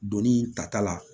Doni ta ta la